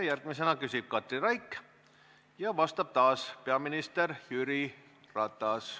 Järgmisena küsib Katri Raik ja vastab taas peaminister Jüri Ratas.